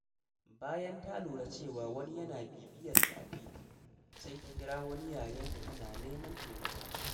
Bayan ta lura cewa wani yana bibiyarta a titi, sai ta kira wani yayanta tana neman taimako.